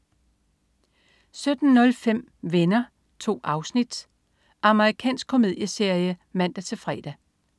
17.05 Venner. 2 afsnit. Amerikansk komedieserie (man-fre)